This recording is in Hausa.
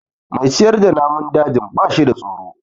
Mai ciyar da namun dajin ba shida tsoro.